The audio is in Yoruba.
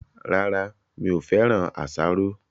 Rárá, mi ò féràn asaro